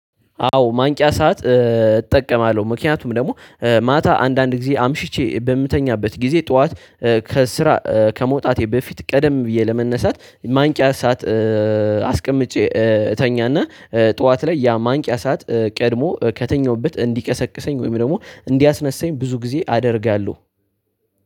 አዎ ማንቂያ ሰዓት እጠቀማለሁ ምክንያቱም ደግሞ ማታ አንዳንድ ጊዜ አምሽቼ በምተኛበት ጊዜ ጠዋት ከስራ ከመውጣቴ በፊት ቀደም ብዬ ለመነሳት ማንቂያ ሰዓት። አስቀምጬ እተኛና ጠዋት ላይ ያ ማንቂያ ሰዓት ቀድሞ ከተኛሁበት እንዲቀሰቅሰኝ ወይም ደግሞ እንዲያስነሳኝ ብዙ ጊዜ አደርጋለሁ።